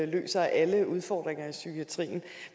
løser alle udfordringer i psykiatrien